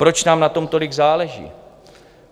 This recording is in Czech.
Proč nám na tom tolik záleží?